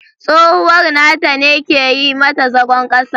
Tsohuwar nata ne ke yi mata zagon kasa.